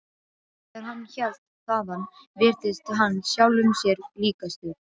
Þegar hann hélt þaðan virtist hann sjálfum sér líkastur.